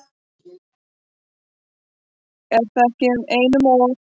Er það nú ekki einum of?